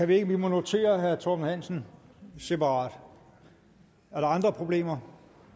vi må notere herre torben hansen separat er der andre problemer